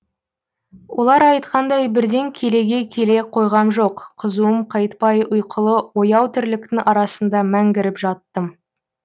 олар айтқандай бірден келеге келе қойғам жоқ қызуым қайтпай ұйқылы ояу тірліктің арасында мәңгіріп жаттым